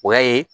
O y'a ye